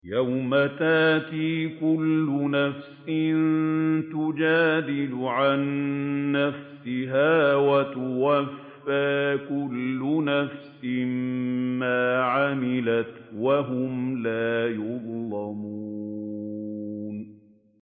۞ يَوْمَ تَأْتِي كُلُّ نَفْسٍ تُجَادِلُ عَن نَّفْسِهَا وَتُوَفَّىٰ كُلُّ نَفْسٍ مَّا عَمِلَتْ وَهُمْ لَا يُظْلَمُونَ